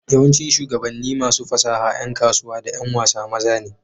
yawancin shugabanni, masu fasaha, ’yan kasuwa, da ’yan wasa maza ne